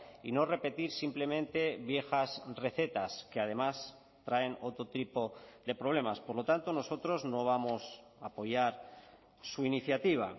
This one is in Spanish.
y no repetir simplemente viejas recetas que además traen otro tipo de problemas por lo tanto nosotros no vamos a apoyar su iniciativa